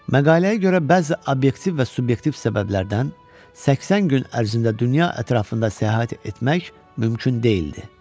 Məqaləyə görə bəzi obyektiv və subyektiv səbəblərdən 80 gün ərzində dünya ətrafında səyahət etmək mümkün deyildi.